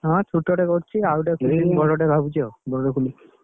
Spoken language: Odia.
ହଁ ଛୁଟ ଟେ କରିଛି ।